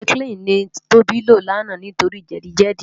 Tètirásáikilini ni Toba ló làná nitóri jèdi jèdi